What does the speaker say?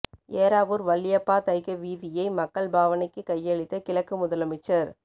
ஏறாவூர் வாளியப்பா தைக்க வீதியை மக்கள் பாவனைக்கு கையளித்த கிழக்கு முதலமைச்சர்